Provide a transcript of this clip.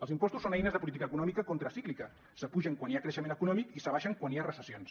els impostos són eines de política econòmica contracíclica s’apugen quan hi ha creixement econòmic i s’abaixen quan hi ha recessions